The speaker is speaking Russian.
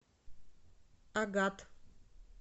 агат